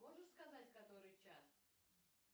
можешь сказать который час